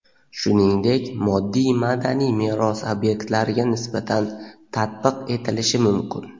shuningdek moddiy madaniy meros obyektlariga nisbatan tatbiq etilishi mumkin.